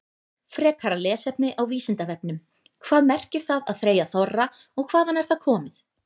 Frekara lesefni á Vísindavefnum: Hvað merkir það að þreyja þorra og hvaðan er það komið?